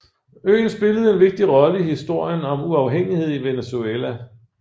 Øen spillede en vigtig rolle i historien om uafhængighed i Venezuela